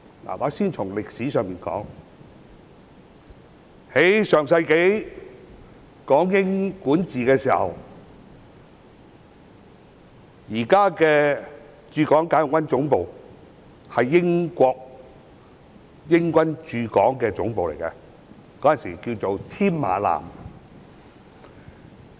我先從歷史說起，在上世紀港英政府管治的時候，現時的駐港解放軍總部是駐港英軍總部，當時稱為添馬艦。